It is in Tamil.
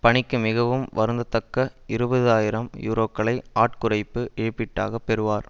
பணிக்கு மிகவும் வருந்தத்தக்க இருபது ஆயிரம் யூரோக்களை ஆட்குறைப்பு இழப்பீடாக பெறுவார்